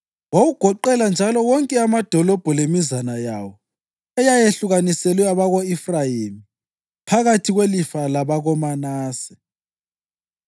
Wawugoqela njalo wonke amadolobho lemizana yawo eyayehlukaniselwe abako-Efrayimi phakathi kwelifa labakoManase.